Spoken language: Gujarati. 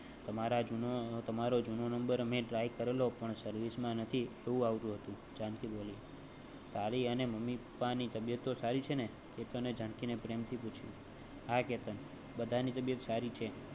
તમારા જૂનો તમારો જૂનો નંબર મે try કરેલો પણ service નથી. એવું આવતું હતું જાનકી બોલી તારી અને મમ્મી પપ્પા ની તબિયત સારી છે કેતને જાનકી ને પ્રેમ થી પૂછ્યું હા કેતન બધાની તબિયત. સારી છે.